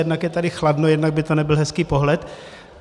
Jednak je tady chladno, jednak by to nebyl hezký pohled.